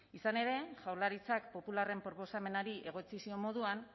izan ere jaurlaritzak popularren proposamenari egotzi zion moduan